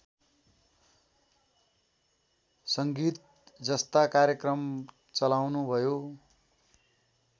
संगीतजस्ता कार्यक्रम चलाउनुभयो